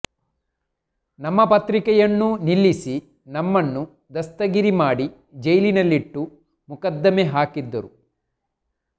ನಮ್ಮ ಪತ್ರಿಕೆಯನ್ನೂ ನಿಲ್ಲಿಸಿ ನಮ್ಮನ್ನು ದಸ್ತಗಿರಿ ಮಾಡಿ ಜೈಲಿನಲ್ಲಿಟ್ಟು ಮೊಕದ್ದಮೆ ಹಾಕಿದರು